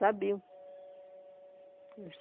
Sabiam.